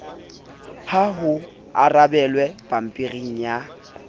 ha ho arabelwa pampiri ya